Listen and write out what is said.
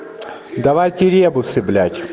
давайте ребусы блять